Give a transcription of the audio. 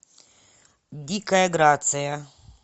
дикая грация